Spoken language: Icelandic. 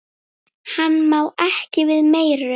Hann má ekki við meiru.